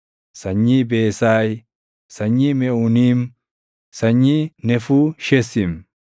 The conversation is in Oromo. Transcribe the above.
sanyii Beesaay, sanyii Meʼuuniim, sanyii Nefuushesiim,